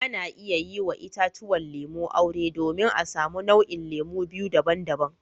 Ana iya yi wa itatuwan lemu aure domin a samu nau'in lemu biyu daban-daban.